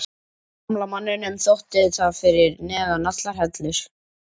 Gamla manninum þótti það fyrir neðan allar hellur.